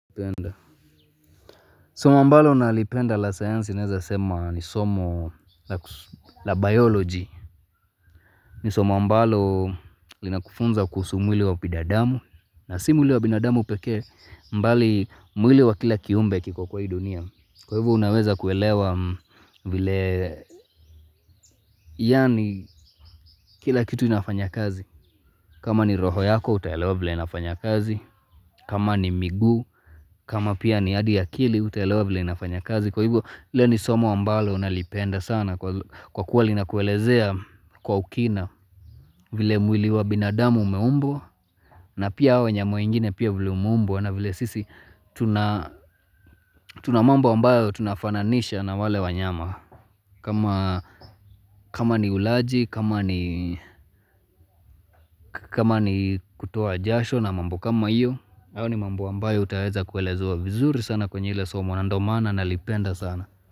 Soma ambalo nalipenda la sayansi naeza sema ni somo la biology. Ni somo ambalo linakufunza kuhusu mwili wa binadamu. Na si mwili wa bidadamu pekee mbali mwili wa kila kiumbe kiko kwa hii dunia. Kwa hivo unaweza kuelewa vile yaani kila kitu inafanya kazi. Kama ni roho yako utaelewa vile inafanya kazi. Kama ni miguu. Kama pia ni hadi akili utaelewa vile inafanya kazi. Kwa hivyo lile ni somo ambalo nalipenda sana kwa kuwa lina kuelezea kwa ukina vile mwili wa binadamu umeumbwa na pia hao wanyama wengine pia vile wameumbwa na vile sisi tuna mambo ambayo tunafananisha na wale wanyama kama ni ulaji, kama ni kutoa jasho na mambo kama hiyo hayo ni mambo ambayo utaeza kuelezewa vizuri sana kwenye lile somo na ndio maana nalipenda sana.